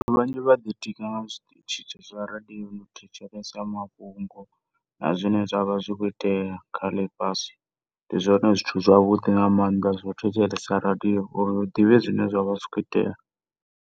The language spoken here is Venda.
Vhathu vhanzhi vhaḓi tika nga tshiṱitsha zwa radioni u thetshelesa mafhungo na zwine zwavha zwakho itea kha ḽifhasi, ndi zwone zwithu zwavhuḓi nga maanḓa zwo thetshelesa radio uri ri ḓivhe zwine zwavha zwi kho itea.